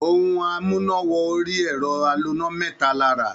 Ohun amúná-wọ-orí-ẹ̀rọ aloná mẹ́ta la rà.